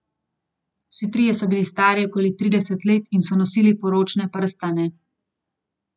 Vsi trije so bili stari okoli trideset let in so nosili poročne prstane.